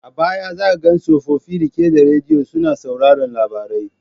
A baya za ka ga tsofofi rike da radiyo suna sauraron labarai.